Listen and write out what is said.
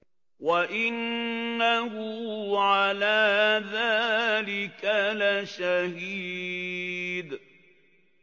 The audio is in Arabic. وَإِنَّهُ عَلَىٰ ذَٰلِكَ لَشَهِيدٌ